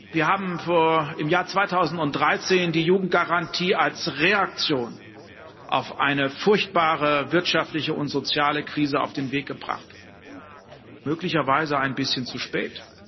Wir haben im Jahr 2013 die Jugendgarantie als Reaktion auf eine furchtbare wirtschaftliche und soziale Krise auf den Weg gebracht, möglicherweise ein bisschen zu spät.